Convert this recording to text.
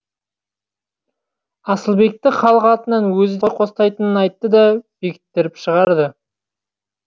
асылбекті халық атынан өзі де қостайтынын айтты да бекіттіріп шығарды